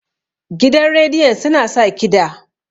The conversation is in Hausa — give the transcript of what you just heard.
gidan rediyon suna sa kida